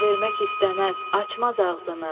Sirr vermək istəməz, açmaz ağzını.